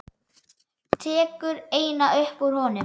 Tekur eina upp úr honum.